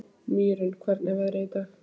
Mýrún, hvernig er veðrið í dag?